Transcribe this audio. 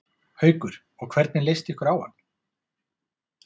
Haukur: Og hvernig leist ykkur á hann?